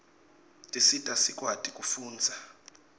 tisita sikwati kufundza